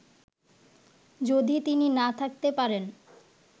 যদি তিনি না থাকতে পারেন